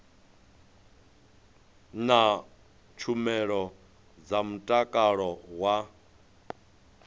na tshumelo dza mutakalo wa